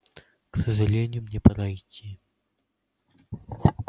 к сожалению мне пора идти